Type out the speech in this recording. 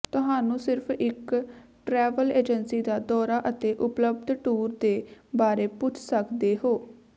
ਤੁਹਾਨੂੰ ਸਿਰਫ਼ ਇੱਕ ਟਰੈਵਲ ਏਜੰਸੀ ਦਾ ਦੌਰਾ ਅਤੇ ਉਪਲੱਬਧ ਟੂਰ ਦੇ ਬਾਰੇ ਪੁੱਛ ਸਕਦੇ ਹੋ